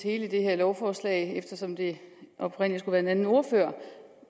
i hele det her lovforslag eftersom det oprindelig skulle en anden ordfører